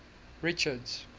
richards